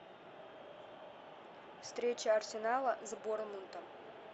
встреча арсенала с борнмутом